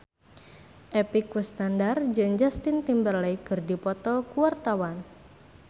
Epy Kusnandar jeung Justin Timberlake keur dipoto ku wartawan